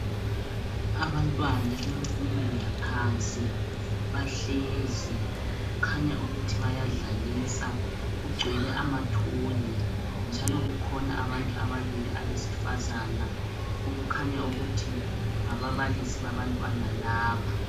Abantwana bemfundo yaphansi bahlezi. Kukhanya ukuthi bayadlalisa. Kugcwele amatoy. Njalo kukhona abantu ababili, abesifazana. Kukhanya ukuthi ngababalisi babantwana laba.